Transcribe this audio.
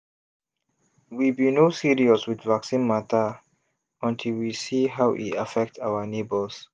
we be no serious with vaccine matter until we see how e affect our neighbors.